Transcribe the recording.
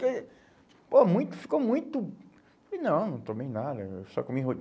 Eh, pô, muito, ficou muito... Falei, não, não tomei nada, só comi